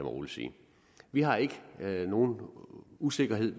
roligt sige vi har ikke nogen usikkerhed